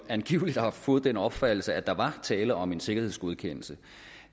angiveligt har fået den opfattelse at der var tale om en sikkerhedsgodkendelse